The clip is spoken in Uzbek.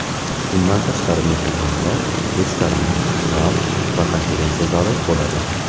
Bundan tashqari, mehmonxonada restoran, bar va konferensiya zali bo‘ladi.